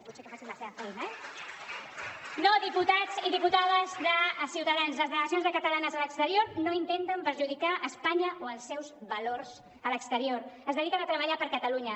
potser que facin la seva feina eh no diputats i diputades de ciutadans les delegacions catalanes a l’exterior no intenten perjudicar espanya o els seus valors a l’exterior es dediquen a treballar per catalunya